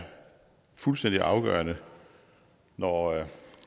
fuldstændig afgørende når